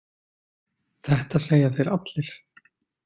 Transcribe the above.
Þetta segja þeir allir!